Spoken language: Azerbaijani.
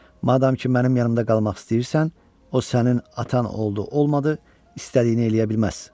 Madam ki mənim yanımda qalmaq istəyirsən, o sənin atan oldu, olmadı, istədiyini eləyə bilməz.